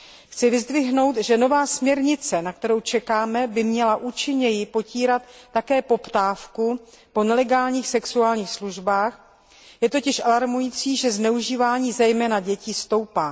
Chci vyzdvihnout, že nová směrnice, na kterou čekáme, by měla účinněji potírat také poptávku po nelegálních sexuálních službách, je totiž alarmující, že zneužívání zejména dětí stoupá.